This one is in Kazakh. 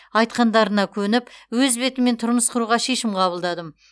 айтқандарына көніп өз бетіммен тұрмыс құруға шешім қабылдадым